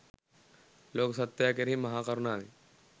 ලෝක සත්වයා කෙරෙහි මහා කරුණාවෙන්